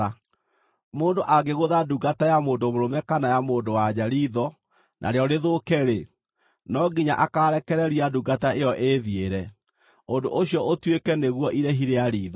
“Mũndũ angĩgũtha ndungata ya mũndũ mũrũme kana ya mũndũ-wa-nja riitho narĩo rĩthũke-rĩ, no nginya akaarekereria ndungata ĩyo ĩĩthiĩre, ũndũ ũcio ũtuĩke nĩguo irĩhi rĩa riitho.